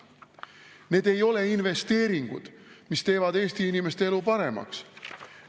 Need ei ole investeeringud, mis teevad Eesti inimeste elu paremaks.